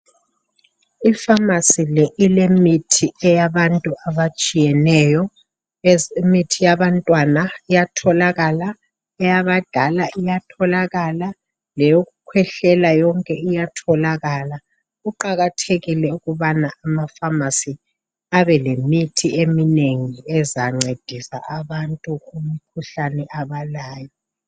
Ifamasi le ilemithi eyabantu abatshiyeneyo, imithi eyabantwana iyatholakala, eyabadala iyatholakala, leyokukhwehlela yonke iyatholakala. Kuqakathekile ukubana amafamasi abe lemithi eminengi ezancedisa abantu kumikhuhlane abalayo.